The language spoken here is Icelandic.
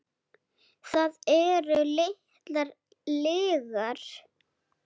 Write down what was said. Það eru litlar lygar.